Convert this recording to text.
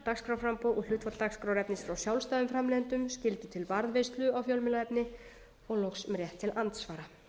dagskrárframboð og hlutfall dagskrárefnis frá sjálfstæðum framleiðendum skyldu til varðveislu á fjölmiðlaefni og loks um rétt til andsvara